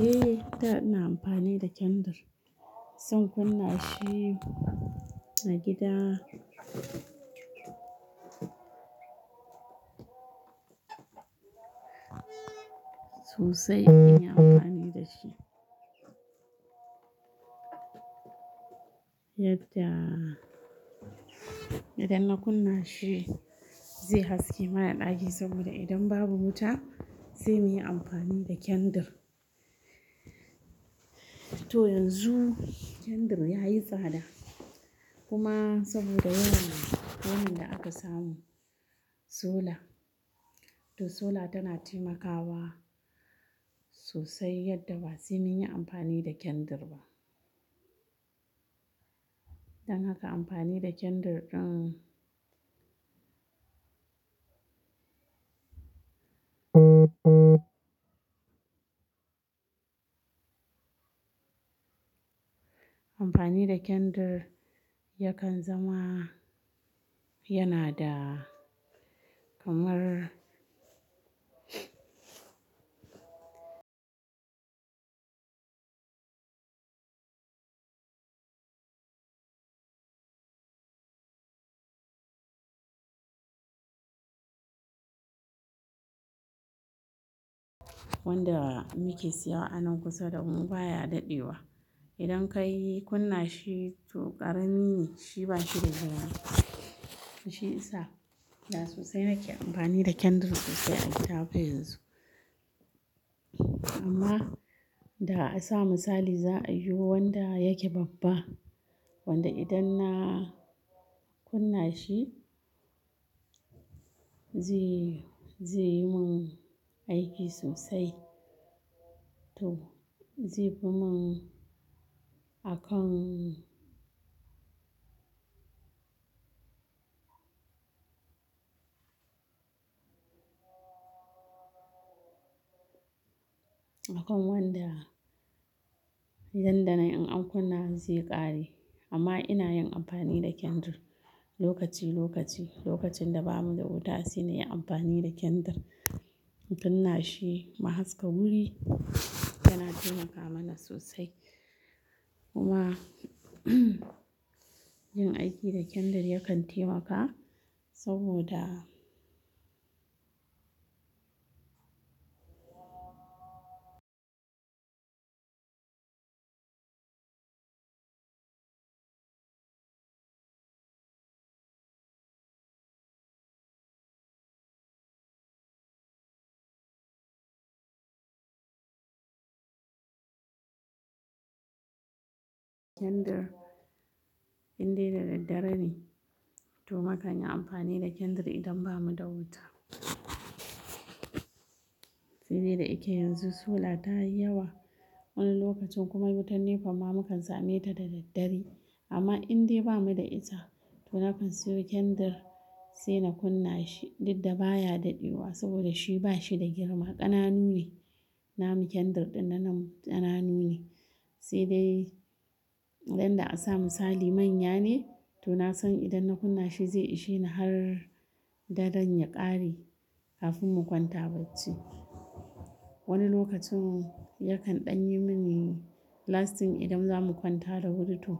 Eh, da ina amfani da kendir. Zan kunna shi a gida. Sosai in yi amfani da shi. Yadda idan na kunna shi zai haske mana ɗaki saboda idan babu wuta, sai mu yi amfani da kendir. To yanzu kendir yayi tsada kuma saboda yana wurin da aka samu sola. To sola tana taimakawa sosai yadda ba zan yi amfani da kendar ba. Don haka amfani da kendar ɗin. Amfani da kendir yakan zama yana da kamar wanda muke siya wa anan kusa da mu baya dadewa. Idan kayi kunna shi to ƙarami ne shi ba shi da girma. Shi isa da sosai nake amfani da kendir sosai a Itafa yanzu. Amma da a sa misali za a yi wanda yake babba. Wanda idan na kunna shi zai, zai yi mun aiki sosai. To zai fimu nakan, akan wanda yadda na in an kunna zai ƙare. Amma ina yin amfani da kendir lokaci lokaci. Lokacin da bamu da wuta shine in yi amfani da kendir. In kunna shi ma haska wuri tana taimaka mana sosai. Kuma yin aiki da kendar yakan taimaka saboda kendar indai da daddare ne. To makan yi amfani da kendir idan bamu da wuta. Sai dai da yake yanzu sola ta yi yawa wani lokacin kuma wutar NEPA ma mukan same ta da daddare. Amma indai bamu da ita to na kan siyo kendir sai na kunna shi. Dinda baya dadewa saboda shi ba shi da girma, ƙananu ne. Namu kendir ɗin nan ƙananu ne. Sai dai danda a sa misali manya ne to na san idan na kunna shi zai ishe ni har daren ya ƙare kafin mu kwanta bacci. Wani lokacin yakan ɗan yi mini lasting idan za mu kwanta da wuri to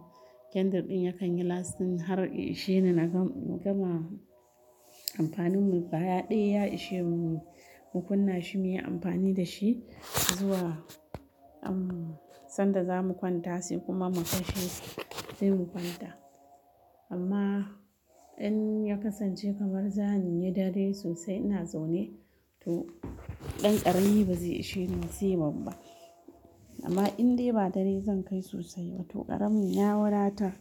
kendir ɗin yakan yi lasting har ya ishe ni na gama amfanin mu. Gaya ɗaya ya ishe mu, mu kunna shi muyi amfani da shi zuwa umm, sanda za mu kwanta shi kuma mu kashe shi sai mu kwanta. Amma in ya kasance kamar zamu yi dare sosai ina zaune to ɗan ƙarami ba zai ishe ni ba sai babba. Amma indai ba dare zan kai sosai ba to ƙaramin ya wadatar.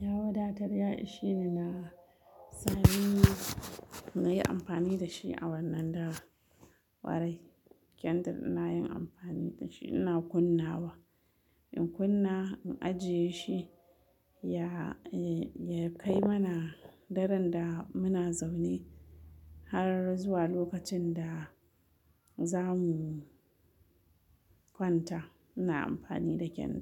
Ya wadatar ya ishe ni na sami na, na yi amfani da shi a wannan dawa. Kwarai kendir ina yin amfani da shi ina kunna wa. In kunna in ajiye shi ya, ya kai mana daren da muna zaune har zuwa lokacin da za mu kwanta. Ina amfani da kendar.